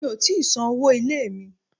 Mi ò tíì san owó ilé mi.